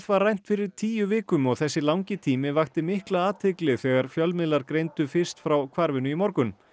var rænt fyrir tíu vikum og þessi langi tími vakti mikla athygli þegar fjölmiðlar greindu fyrst frá hvarfinu í morgun